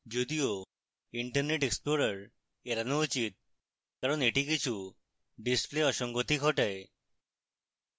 যদিও internet explorer এড়ানো উচিত কারণ এটি কিছু display অসঙ্গতি ঘটায়